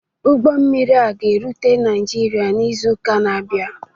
Ụgbọ mmiri a ga-erute Naijiria n'izu ụka na-abịa.